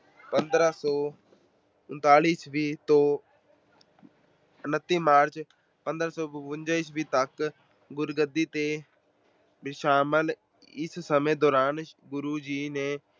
ਪੰਦਰਾਂ ਸੌ ਉਨਤਾਈ ਈਸਵੀ ਤੋਂ ਉਨਤੀ ਮਾਰਚ, ਪੰਦਰਾਂ ਸੌ ਬਵੰਜਾ ਈਸਵੀ ਤੱਕ ਗੁਰਗੱਦੀ ਤੇ ਬਿਰਾਜਮਾਨ ਰਹੇ। ਇਸ ਸਮੇਂ ਦੌਰਾਨ ਗੁਰੂ ਜੀ ਨੇ